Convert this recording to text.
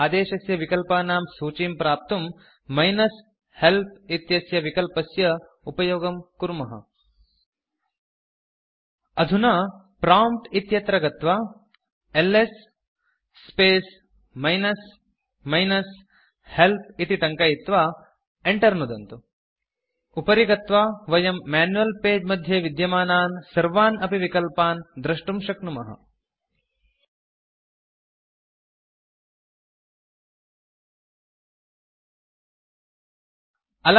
आदेशस्य विकल्पानां सूचीं प्राप्तुं मिनस् हेल्प् इत्यस्य विकल्पस्य उपयोगं कुर्मः अधुना प्रॉम्प्ट् इत्यत्र गत्वा LS space minus minus help इति टङ्कयित्वा enter नुदन्तु उपरि गत्वा वयं मैन्युअल् पगे मध्ये विद्यमानान् सर्वान् अपि विकल्पान् द्रष्टुं शक्नुमः अलमतिविस्तरेण